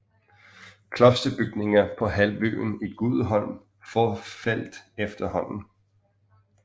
Klosterbygninger på halvøen i Guldholm forfaldt efterhånden